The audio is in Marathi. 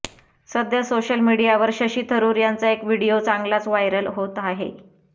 सध्या सोशल मीडियावर शशी थरुर यांचा एक व्हिडीओ चांगलाच व्हायरल होत आहे